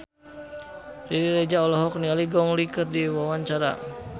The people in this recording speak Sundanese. Riri Reza olohok ningali Gong Li keur diwawancara